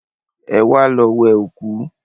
Ẹwà lọ wẹ òkú